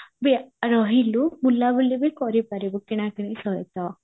ବି ରହିଲୁ ବୁଲା ବୁଲି ବି କରିପାରିବୁ କିଣା କିଣି ସହିତ ନାଁ କଣ କହୁଚ ତମେ